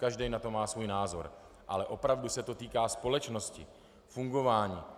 Každý na to má svůj názor, ale opravdu se to týká společnosti, fungování.